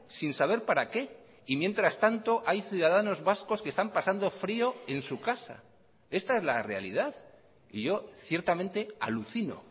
sin saber para qué y mientras tanto hay ciudadanos vascos que están pasando frio en su casa esta es la realidad y yo ciertamente alucino